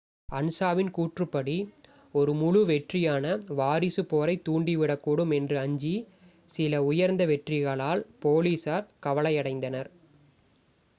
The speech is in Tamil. "அன்சாவின் கூற்றுப்படி "ஒரு முழு-வெற்றியான வாரிசு போரைத் தூண்டிவிடக்கூடும் என்று அஞ்சி சில உயர்ந்த வெற்றிகளால் போலீசார் கவலையடைந்தனர்.